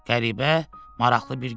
Qəribə, maraqlı bir gün idi.